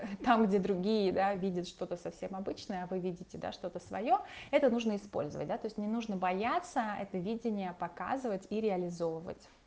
там где другие да видят что-то совсем обычное а вы видите да что-то своё это нужно использовать да то есть не нужно бояться это видение показывать и реализовывать